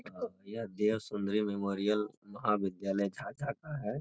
अ यह देह सुंदरी मेमोरियल महाविद्यालय झाझा का है।